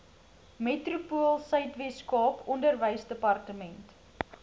metropoolsuid weskaap onderwysdepartement